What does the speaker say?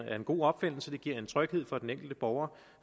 en god opfindelse det giver en tryghed for den enkelte borger